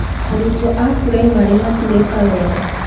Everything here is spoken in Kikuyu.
Arutwo a buraimarĩ matireka wega